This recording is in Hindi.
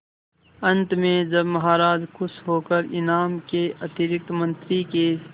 अंत में जब महाराज खुश होकर इनाम के अतिरिक्त मंत्री के